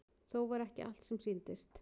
Þó var ekki allt sem sýndist.